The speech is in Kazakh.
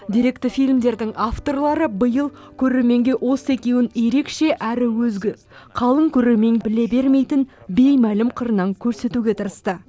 деректі фильмдердің авторлары биыл көрерменге осы екеуін ерекше әрі өзге қалың көрермен біле бермейтін беймәлім қырынан көрсетуге тырысты